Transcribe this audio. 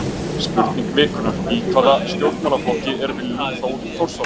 Spurning vikunnar: Í hvaða stjórnmálaflokki er Willum Þór Þórsson?